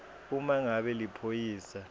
uma ngabe liphoyisa